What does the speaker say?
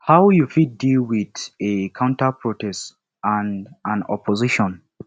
how you fit deal with a counterprotest and an opposition